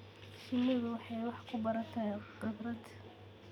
Shinnidu waxay wax ku barataa khibrad.